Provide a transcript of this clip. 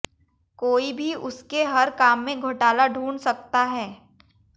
कोई भी उसके हर काम में घोटाला ढूंढ सकता है